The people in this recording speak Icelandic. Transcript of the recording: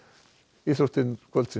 íþróttir kvöldsins